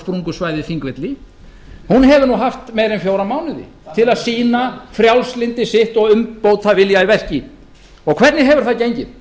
og sprungusvæðið þingvelli hefur nú haft meira en fjóra mánuði til að sýna frjálslyndi sitt og umbótavilja í verki og hvernig hefur gengið